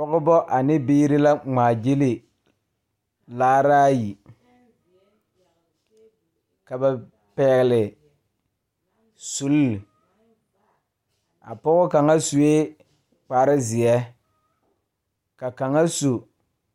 Pɔgebɔ ane biire la ngmaagyile laaraayi ka ba pɛɛle sulle a pɔɔ kaŋa suee kparezeɛ ka kaŋa su